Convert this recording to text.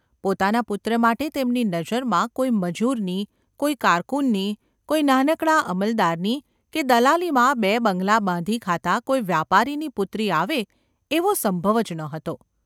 પોતાના પુત્ર માટે તેમની નજરમાં કોઈ મજૂરની, કોઈ કારકુનની, કોઈ નાનકડા અમલદારની કે દલાલીમાં બે બંગલા બાંધી ખાતા કોઈ વ્યાપારીની પુત્રી આવે એવો સંભવ જ ન હતો.